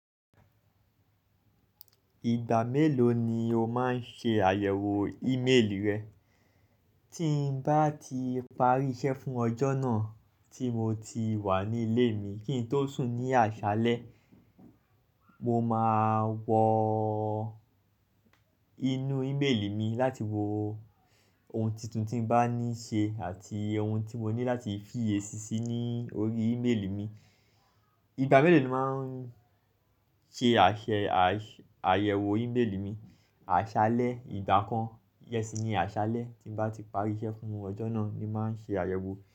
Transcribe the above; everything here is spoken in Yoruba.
Ìgbà mélòó ni o máa ń ṣe àyẹ̀wò ímélì rẹ? Tí ń bá ti parí iṣẹ́ fún ọjọ́ náà tí mo ti wà ní ilé mi kí n tó sùn ní àṣálẹ́, mo máa wọ inú ímélì mi láti wo ohun tuntun tí ń bá ní ṣe àti ohun tí mo ní láti fi èsì sí ní orí ímélì mi. Ìgbà mélòó ni o máa ń ṣe àṣẹ àṣ-- àyẹ̀wò ímélì mi? Àṣálẹ́ ìgbà kan, yẹsì ni àṣálẹ́ tí ń bá ti parí iṣẹ́ fún ọjọ́ náà ni màá ṣe àyẹ̀wò.